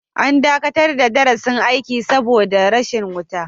An dakatar da darasin aiki saboda rashin wuta.